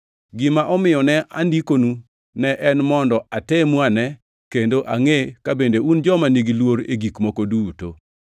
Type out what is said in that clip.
Gima omiyo ne andikonu ne en mondo atemu ane kendo angʼe ka bende un joma nigi luor e gik moko duto.